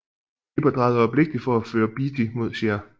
Hipper drejede øjeblikkeligt for at føre Beatty mod Scheer